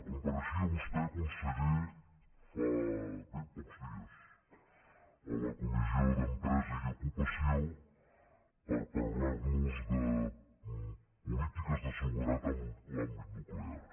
compareixia vostè conseller fa bens pocs dies a la comissió d’empresa i ocupació per parlar nos de polítiques de seguretat en l’àmbit nuclear